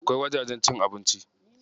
Akwai wajajen cin abinci.